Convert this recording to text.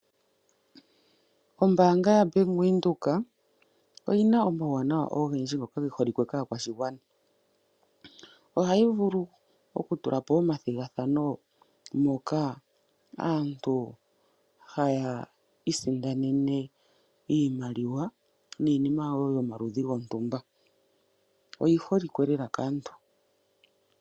Ombaanga yaBank Windhoek oyi na omawuwanawa ogendji ngoka ge holike kaakwashigwana. Ohayi vulu oku tula po omathigathano moka aantu haya isindanene iimaliwa niinima wo yomaludhi gontumba. Oyi holikwe lela kaantu.